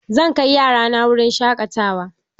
Zan kai yarana wurin shaƙatawa